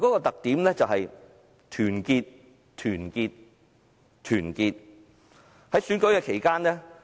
特點在於團結、團結和團結。